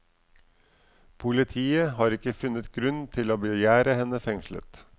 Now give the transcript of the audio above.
Politiet har ikke funnet grunn til å begjære henne fengslet.